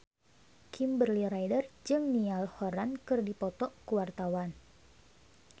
Kimberly Ryder jeung Niall Horran keur dipoto ku wartawan